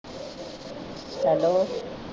Hello.